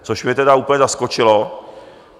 Což mě tedy úplně zaskočilo.